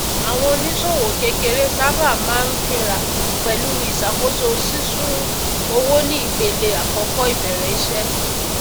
àwọn oníṣòwò kékeré sábà máa ń fínra pẹlú iṣakoso sísún owó ní ìpele àkọkọ ìbẹrẹ iṣẹ